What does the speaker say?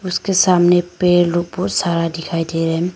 उसके सामने पेड़ लोग बहुत सारा दिखाई दे रहा।